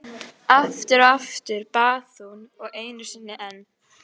Aftur og aftur, bað hún og einu sinni enn.